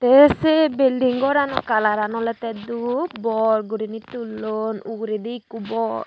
te se bilding goranow kalaran olodey dub bor goriney tullon uguredi ekku bor.